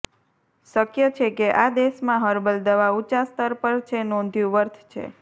શક્ય છે કે આ દેશમાં હર્બલ દવા ઊંચા સ્તર પર છે નોંધ્યું વર્થ છે